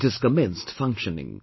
It has commenced functioning